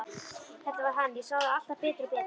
Þetta var hann, ég sá það alltaf betur og betur.